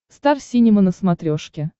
стар синема на смотрешке